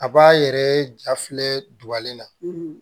A b'a yɛrɛ ja filɛ dubalen na